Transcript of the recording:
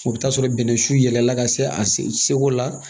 O bɛ taa sɔrɔ bɛnɛsu yɛlɛla ka se a seko la